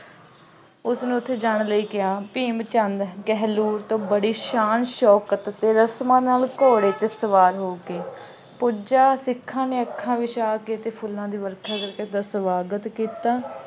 ਉਸਨੰ ਉੱਥੇ ਜਾਣ ਲਈ ਕਿਹਾ। ਭੀਮ ਚੰਦ ਗਹਿਲੋਤ ਬੜੀ ਸ਼ਾਨ ਸ਼ੌਕਤ ਅਤੇ ਰਸਮਾਂ ਨਾਲ ਘੋੜੇ ਤੇ ਸਵਾਰ ਹੋ ਕੇ ਪੁੱਜਾ। ਸਿੱਖਾਂ ਨੇ ਅੱਖਾਂ ਵਿਛਾ ਕੇ ਅਤੇ ਫੁੱਲਾਂ ਦੀ ਵਰਖਾ ਕਰਕੇ ਉਸਦਾ ਸਵਾਗਤ ਕੀਤਾ।